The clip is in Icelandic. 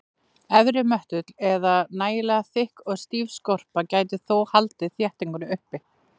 Efri möttull eða nægilega þykk og stíf skorpu gæti þó haldið þéttingunni uppi.